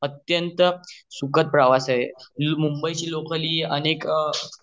अत्यंत सुखद प्रवास आहे मुंबई ची लोकल हि अनेक